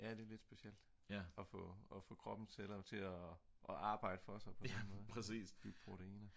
ja det er lidt specielt at få kroppens celler til at arbejde for sig på den måde med proteiner